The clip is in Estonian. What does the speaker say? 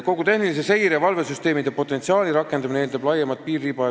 Kogu tehnilise seire- ja valvesüsteemide potentsiaali rakendamine eeldab laiemat piiririba.